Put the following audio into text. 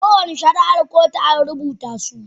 Kowane shari'ar kotu an rubuta su.